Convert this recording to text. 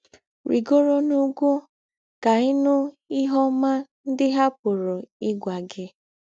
“ Rìgòrò n’ùgwù̄ kà ị̀ nụ̀ ìhè ọ́má ńdị hà pụ̀rù́ ígwà gị. ”